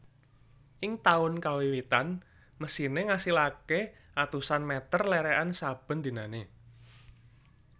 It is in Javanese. Ing taun kawiwitan mesine ngasilake atusan meter lerekan saben dinane